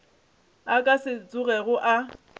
a ka se tsogego a